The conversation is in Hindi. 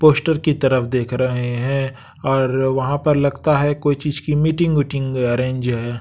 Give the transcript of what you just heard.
पोस्टर की तरफ देख रहे हैं और वहाँ पर लगता है कोई चीज की मीटिंग वीटिंग अरेंज है।